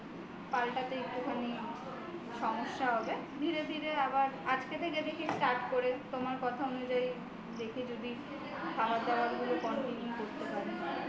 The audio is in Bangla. পাল্টাতে একটুখানি সমস্যা হবে ধীরে ধীরে আবার আজকে থেকে start করে তোমার কথা অনুযায়ী দেখি যদি খাবার দাবারগুলো control করতে পারি